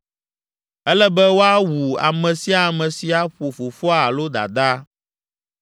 “Ele be woawu ame sia ame si aƒo fofoa alo dadaa.